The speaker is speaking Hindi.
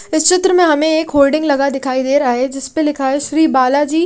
इस चित्र में हमें एक होल्डिंग लगा दिखाई दे रहा है जिस पे लिखा है श्री बालाजी--